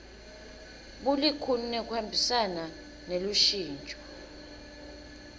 bulikhuni nekuhambisana nelushintso